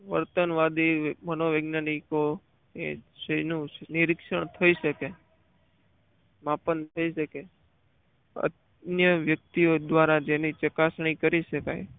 વર્તન વાદે મનોવૈજ્ઞાનિકો એ જેનું નિરીક્ષણ થઈ શક માપન થઈ શકે અન્ય વ્યક્તિઓ દ્વારા જેની ચકાસણી કરી શકાય.